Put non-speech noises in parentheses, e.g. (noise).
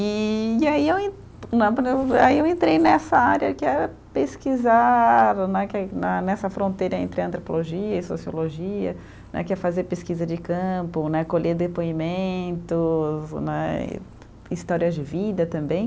E aí eu en (unintelligible) aí eu entrei nessa área que é pesquisar né, que na nessa fronteira entre antropologia e sociologia né, que é fazer pesquisa de campo né, colher depoimentos né, e histórias de vida também.